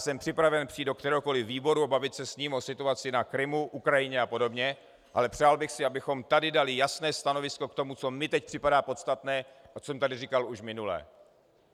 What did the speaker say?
Jsem připraven přijít do kteréhokoli výboru a bavit se s ním o situaci na Krymu, Ukrajině a podobně, ale přál bych si, abychom tady dali jasné stanovisko k tomu, co mně teď připadá podstatné a co jsem tady říkal už minule.